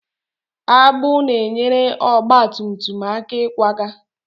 Agbụ na-enyere ọgba tum tum aka ịkwaga.